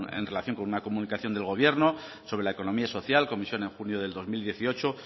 en relación con una comunicación del gobierno sobre la economía social comisión en junio del dos mil dieciocho